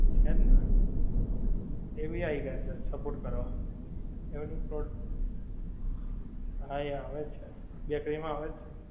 છેજ ને, એ ભી આઈ જાએ છે સપોર્ટ કરવા, એમનું પ્રો, હા એ આવેજ છે, bakery માં આવે છે ને